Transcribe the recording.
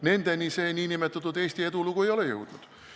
Nendeni nn Eesti edulugu ei ole jõudnud.